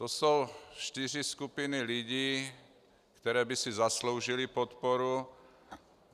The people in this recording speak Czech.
To jsou čtyři skupiny lidí, které by si zasloužily podporu.